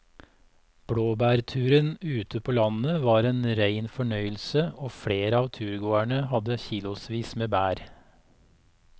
Blåbærturen ute på landet var en rein fornøyelse og flere av turgåerene hadde kilosvis med bær.